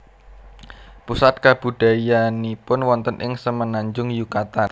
Pusat kabudayaannipun wonten ing Semenanjung Yukatan